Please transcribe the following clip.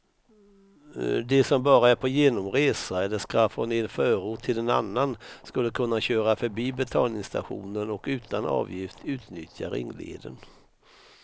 De som bara är på genomresa eller ska från en förort till en annan kulle kunna köra förbi betalningsstationen och utan avgift utnyttja ringleden.